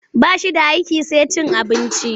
Ba shi da aiki sai cin abinci.